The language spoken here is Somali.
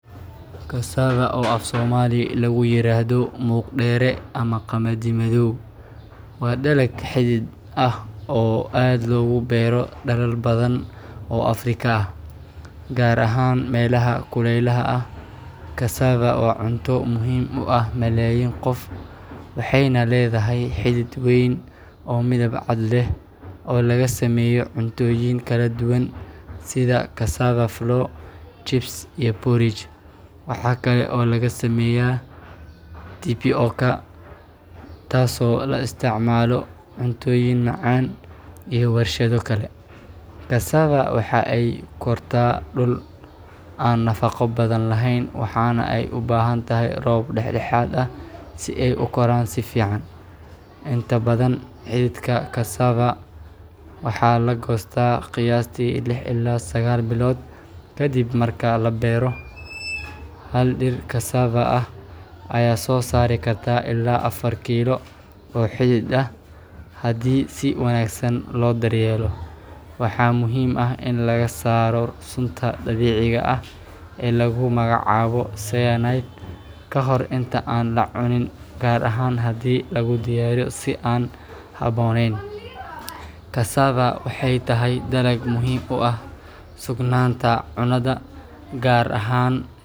Cassava, oo af-Soomaali lagu yiraahdo Muuq-dheere ama Qamadi Madow, waa dalag xidid ah oo aad loogu beero dalal badan oo Afrika ah, gaar ahaan meelaha kuleylaha ah. Cassava waa cunto muhiim u ah malaayiin qof, waxayna leedahay xidid weyn oo midab cad leh oo laga sameeyo cuntooyin kala duwan sida cassava flour, chips, iyo porridge. Waxa kale oo laga sameeyaa tapioca, taasoo loo isticmaalo cuntooyin macaan iyo warshado kale. Cassava waxa ay ku kortaa dhul aan nafaqo badan lahayn, waxaana ay u baahan tahay roob dhexdhexaad ah si ay u koraan si fiican. Inta badan, xididka cassava waxaa la goostaa qiyaastii lix ilaa sagaal bilood kadib marka la beero. Hal dhir cassava ah ayaa soo saari karta ilaa afar kiilo oo xidid ah haddii si wanaagsan loo daryeelo. Waxaa muhiim ah in laga saaro sunta dabiiciga ah ee lagu magacaabo cyanide ka hor inta aan la cunin, gaar ahaan haddii lagu diyaariyo si aan habboonayn. Cassava waxay tahay dalag muhiim u ah sugnaanta cunnada, gaar ahaan.